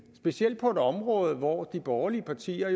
specielt på et område hvor de borgerlige partier